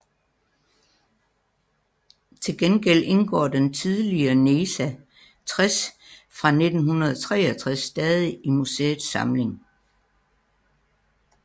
Til gengæld indgår den tidligere NESA 60 fra 1963 stadig i museets samling